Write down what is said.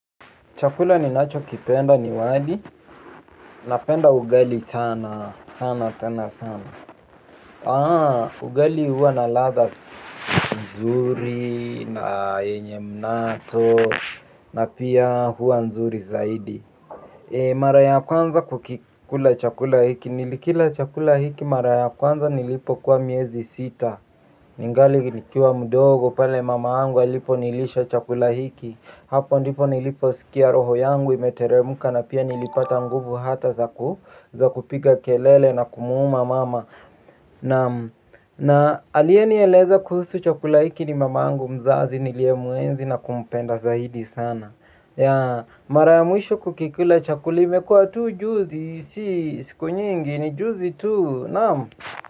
Chakula ninachokipenda ni wali, napenda ugali sana, sana sana sana. Aah, ugali huwa na ladha, nzuri, na yenye mnato, na pia huwa nzuri zaidi. Mara ya kwanza kukikula chakula hiki, nilikila chakula hiki mara ya kwanza nilipokuwa miezi sita. Ningali nikiwa mdogo pale mamangu aliponilisha chakula hiki. Hapo ndipo niliposikia roho yangu imeteremka na pia nilipata nguvu hata za kupiga kelele na kumuuma mama naam. Na aliyenieleza kuhusu chakula hiki ni mamangu mzazi niliyemuenzi na kumpenda zaidi sana. Mara ya mwisho kukikula chakula imekua tu juzi si siku nyingi ni juzi tu naam.